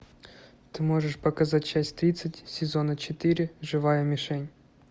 ты можешь показать часть тридцать сезона четыре живая мишень